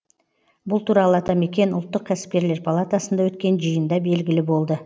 бұл туралы атамекен ұлттық кәсіпкерлер палатасында өткен жиында белгілі болды